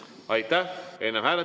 Aitäh!